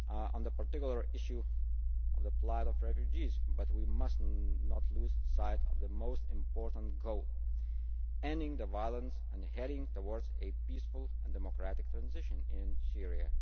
on the particular issue of the plight of refugees but we must not lose sight of the most important goal ending the violence and heading towards a peaceful and democratic transition in Syria.